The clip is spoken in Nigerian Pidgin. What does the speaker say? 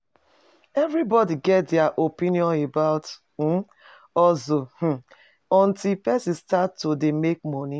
Everybody get their opinion about um hustle um untill persin start to de make money